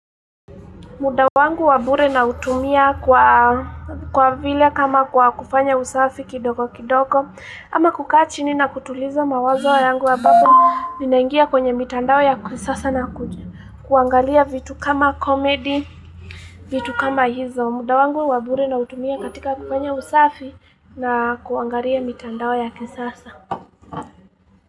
Mda wangu wa bure nautumia kwa kwa vile kama kwa kufanya usafi kidogo kidogo ama kukaa chini na kutuliza mawazo yangu ambapo Ninaingia kwenye mitandao ya kisasa na kuangalia vitu kama comedy vitu kama hizo mda wangu wa bure nautumia katika kufanya usafi na kuangalia mitandao ya kisasa.